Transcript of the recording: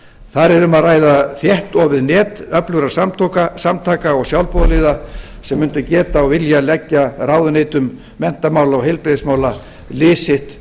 þar er um að ræða þéttofið net öflugra samtaka og sjálfboðaliða sem mundu geta og vilja leggja ráðuneytum menntamála og heilbrigðismála lið sitt